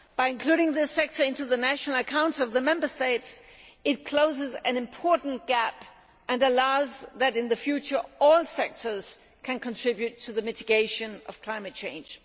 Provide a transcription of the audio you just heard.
Including this sector in the national accounts of the Member States closes an important gap and ensures that in the future all sectors can contribute to the mitigation of climate change.